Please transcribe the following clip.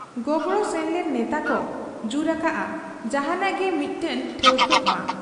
ᱜᱚᱜᱲᱚ ᱥᱮᱱ ᱞᱮᱱ ᱱᱮᱛᱟᱠᱚ ᱡᱩᱨ ᱟᱠᱟᱜ ᱟ ᱡᱟᱦᱟᱸᱱᱟᱜ ᱜᱮ ᱢᱤᱫᱴᱟᱹᱝ ᱴᱷᱟᱹᱣᱠᱟᱹᱜ ᱢᱟ ᱾